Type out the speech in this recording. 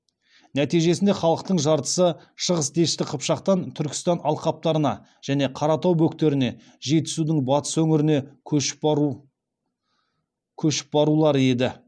нәтижесінде халықтың жартысы шығыс дешті қыпшақтан түркістан алқаптарына және қаратау бөктеріне жетісудың батыс өңіріне көшіп барулары еді